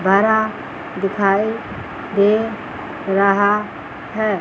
धारा दिखाई दे रहा है।